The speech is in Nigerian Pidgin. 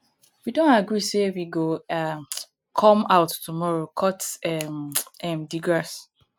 we don agree say we go um come out tomorrow cut um um the grass